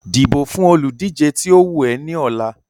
dìbò fún olùdíje tí ó wù ẹ́ ní ọ̀la.